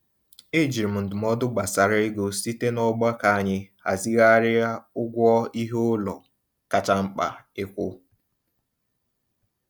E jiri m ndụmọdụ gbasara ego site n'ọgbakọ anyị hazịghari ụgwọ iheụlọ kacha mkpa ịkwụ.